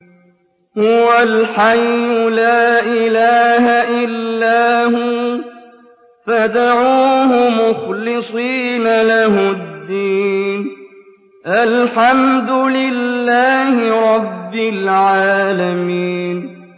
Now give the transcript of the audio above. هُوَ الْحَيُّ لَا إِلَٰهَ إِلَّا هُوَ فَادْعُوهُ مُخْلِصِينَ لَهُ الدِّينَ ۗ الْحَمْدُ لِلَّهِ رَبِّ الْعَالَمِينَ